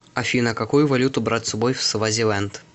афина какую валюту брать с собой в свазиленд